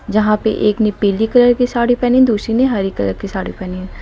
जहां पे एक ने पीले कलर की साड़ी पहनी है दूसरी ने हरे कलर की साड़ी पहनी है।